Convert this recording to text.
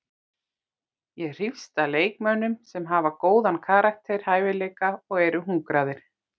Ég hrífst að leikmönnum sem hafa góðan karakter, hæfileika og eru hungraðir.